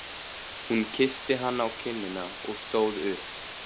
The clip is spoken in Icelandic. Hún kyssti hann á kinnina og stóð upp.